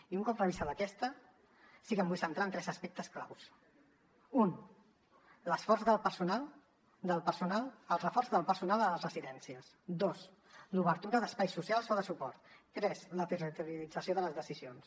i un cop revisada aquesta sí que em vull centrar en tres aspectes claus u el reforç del personal a les residències dos l’obertura d’espais socials o de suport tres la territorialització de les decisions